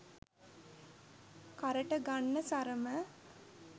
කරට ගන්න සරම